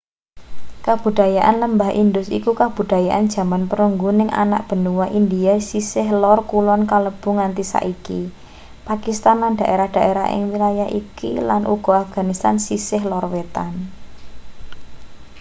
kabudayan lembah indus iku kabudayan jaman perunggu ning anak benua india sisih lor kulon kalebu nganti-saiki pakistan lan daerah-daerah ing wilayah iki lan uga afganistan sisih lor wetan